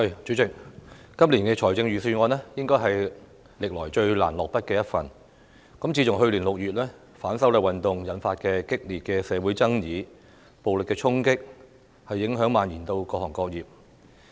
主席，今年財政預算案應該是歷來最難下筆的一份，自去年6月的反修例運動引發激烈的社會爭議和暴力衝擊，影響已蔓延至各行各業。